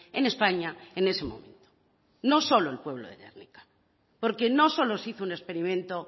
en españa en ese momento no solo el pueblo de gernika porque no solo se hizo un experimento